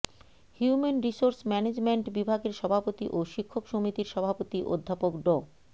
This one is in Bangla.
হিউমেন রিসোর্স ম্যানেজমেন্ট বিভাগের সভাপতি ও শিক্ষক সমিতির সভাপতি অধ্যাপক ড